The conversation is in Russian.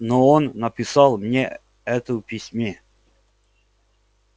но он написал мне это в письме